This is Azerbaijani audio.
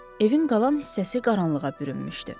Evin qalan hissəsi qaranlığa bürünmüşdü.